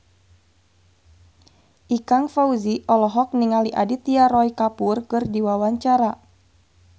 Ikang Fawzi olohok ningali Aditya Roy Kapoor keur diwawancara